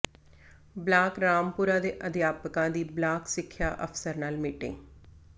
block Rampura ਦੇ ਅਧਿਆਪਕਾਂ ਦੀ ਬਲਾਕ ਸਿੱਖਿਆ ਅਫ਼ਸਰ ਨਾਲ ਮੀਟਿੰਗ